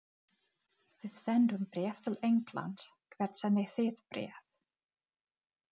Við sendum bréf til Englands. Hvert sendið þið bréf?